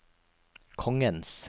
kongens